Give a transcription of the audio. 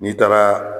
N'i taara